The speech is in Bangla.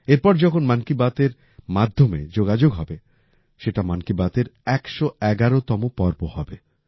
এরপর যখন মন কি বাতের মাধ্যমে যোগাযোগ হবে সেটা মন কি বাতের ১১১তম পর্ব হবে